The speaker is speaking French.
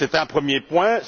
C'est un premier point.